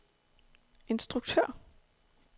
instruktør